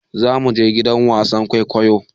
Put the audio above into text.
Za mu je gidan wasan kwaikwayo.